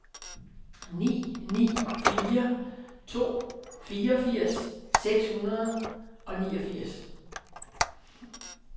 ni ni fire to fireogfirs seks hundrede og niogfirs